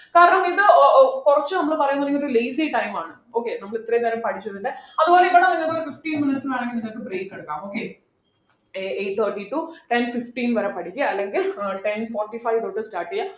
കാരണം ഇത് ഓ ഓ കുറച്ചു നമ്മൾ പറയുന്നത് നിങ്ങൾ lazy time ആണ് okay നമ്മൾ ഇത്രയും നേരം പഠിച്ചതിൻ്റെ അതുപോലെ ഇവിടെ നിങ്ങക്ക് ഒരു fifteen minutes വേണെങ്കി നിങ്ങക്ക് break എടുക്കാം okay eight thirty to ten fifteen വരെ പഠിക്കാ അല്ലെങ്കിൽ ഏർ ten forty five തൊട്ട് start ചെയ്യാ